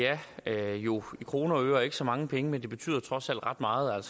er jo i kroner og øre ikke så mange penge men det betyder trods alt ret meget